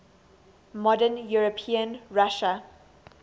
modern european russia